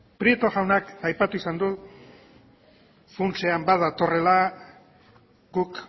prieto jaunak aipatu izan du funtsean bat datorrela guk